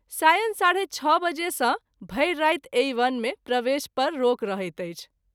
सायं ६.३० बजे सँ भरि राति एहि वन मे प्रवेश पर रोक रहैत अछि।